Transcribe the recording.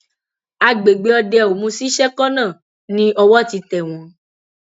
àgbègbè òdeomu sí sekona ni owó ti tẹ wọn